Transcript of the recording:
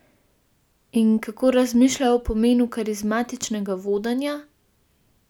In kako razmišlja o pomenu karizmatičnega vodenja?